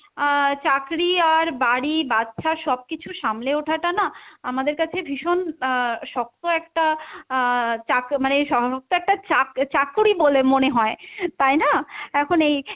আহ চাকরি আর বাড়ি বাচ্চা সবকিছু সামলে ওঠাটা না আমাদের কাছে ভীষণ আহ শক্ত একটা আহ চাক~ মানে শক্ত একটা চাক~ চাকরি বলে মনে হয়, তাই না? এখন এই,